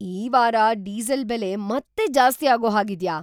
ಈ ವಾರ ಡೀಸೆಲ್ ಬೆಲೆ ಮತ್ತೆ ಜಾಸ್ತಿ ಆಗೋ ಹಾಗಿದ್ಯಾ?